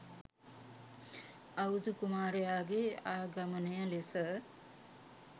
අවුරුදු කුමාරයාගේ ආගමනය ලෙස